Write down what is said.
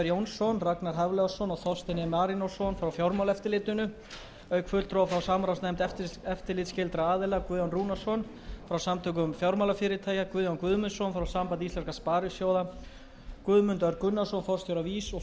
jónsson ragnar hafliðason og þorstein e marinósson frá fjármálaeftirlitinu auk fulltrúa frá samráðsnefnd eftirlitsskyldra aðila guðjón rúnarsson frá samtökum fjármálafyrirtækja guðjón guðmundsson frá sambandi íslenskra sparisjóða og guðmund örn gunnarsson forstjóra